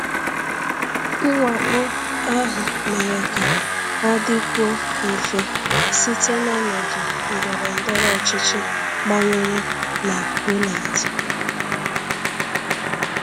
Mwakpo ahụ mere ka ọ dịkwuo mfe site n’ọnọdụ ndọrọ ndọrọ ọchịchị gbanwere na Poland.